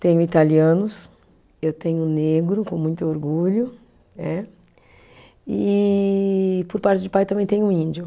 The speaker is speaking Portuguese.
Tenho italianos, eu tenho negro, com muito orgulho é, e por parte de pai também tenho índio.